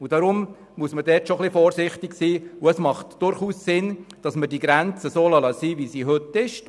Deshalb muss man dort schon etwas vorsichtig sein, und es macht durchaus Sinn, dass man die Grenzen dort belässt, wie sie heute sind.